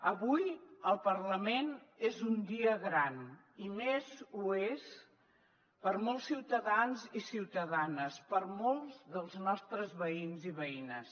avui al parlament és un dia gran i més ho és per a molts ciutadans i ciutadanes per a molts dels nostres veïns i veïnes